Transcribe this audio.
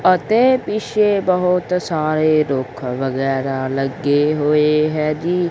ਅਤੇ ਪੀਛੇ ਬਹੁਤ ਸਾਰੇ ਰੁਖ ਵਗੈਰਾ ਲੱਗੇ ਹੋਏ ਹੈ ਜੀ।